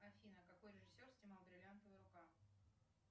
афина какой режиссер снимал бриллиантовая рука